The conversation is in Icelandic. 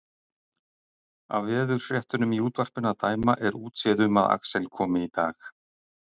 Af veðurfréttunum í útvarpinu að dæma er útséð um að Axel komi í dag.